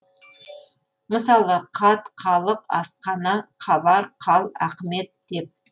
мысалы қат қалық асқана қабар қал ақымет деп